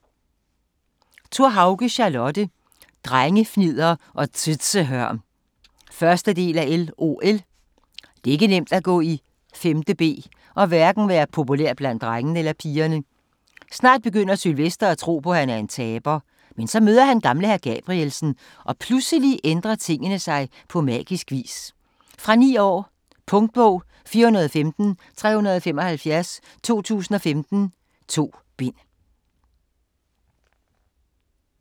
Thorhauge, Charlotte: Drengefnidder og tøzehørm 1. del af LOL. Det er ikke nemt at gå i 5.b og hverken være populær bandt drengene eller pigerne. Snart begynder Sylvester at tro på, at han er en taber. Men så møder han gamle hr. Gabrielsen og pludselig ændrer tingene sig på magisk vis. Fra 9 år. Punktbog 415375 2015. 2 bind.